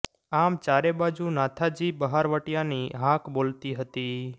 આમ ચારે બાજુ નાથાજી બહારવટીયાની હાક બોલતી હતી